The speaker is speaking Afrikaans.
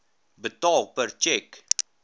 betaal per tjek